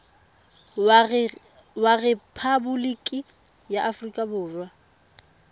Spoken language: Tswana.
wa rephaboliki ya aforika borwa